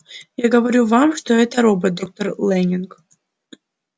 я говорю вам что это робот доктор лэннинг